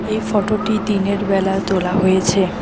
এই ফটোটি দিনের বেলায় তোলা হয়েছে।